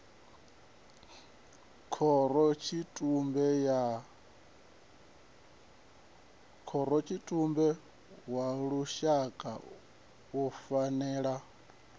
khorotshitumbe wa lushaka u fanela